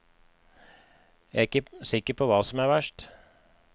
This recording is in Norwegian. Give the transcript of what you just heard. Jeg er ikke sikker på hva som er verst.